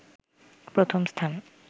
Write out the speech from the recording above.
প্রথম স্থান